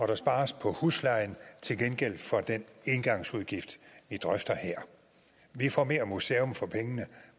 der spares på huslejen til gengæld for den engangsudgift vi drøfter her vi får mere museum for pengene